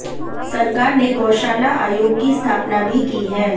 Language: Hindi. सरकार ने गौशाला आयोग की स्थापना भी की है